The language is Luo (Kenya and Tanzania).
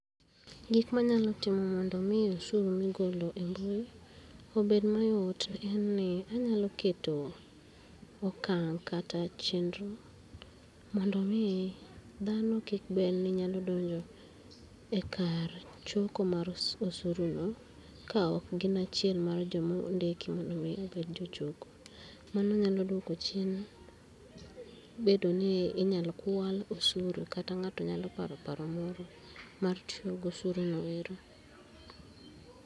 Gik manyalo timo mondo mi obed mayot en ni anyalo keto okang' kata chenro, mondo mi dhano kik bed ni nyalo donjo e kar choko mar os osuru no kaok gin achiel mar jomo ndiki mondo mi obed jochoko. Mano nyalo duoko chien, bedo ni inyalo kwal osuru kata ng'ato nyalo paro paro moro mar tiyogo osuru no ero.